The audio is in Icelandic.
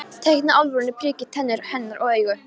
Teikna Álfrúnu, prikið, tennur hennar og augu.